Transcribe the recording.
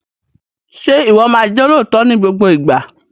Ṣé o máa jẹ́ olóòótọ́ ní gbogbo ìgbà?